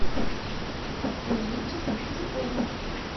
эмильчиком худяковым